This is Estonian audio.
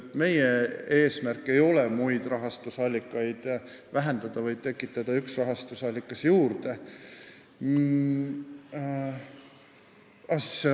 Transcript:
Meie eesmärk ei ole muid rahastusallikaid vähendada, vaid tekitada üks rahastusallikas juurde.